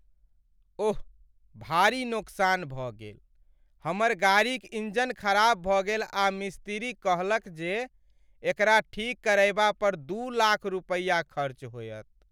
ओह, भारी नोकसान भऽ गेल। हमर गाड़ीक इंजन खराब भऽ गेल आ मिस्तिरी कहलक जे एकरा ठीक करयबा पर दू लाख रुपैया खर्च होयत।